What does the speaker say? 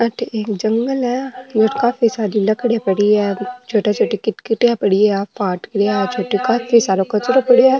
अठे एक जंगल है और काफी सारी लकड़ियां पड़ी है काफी सारो कचरो पड़यो है।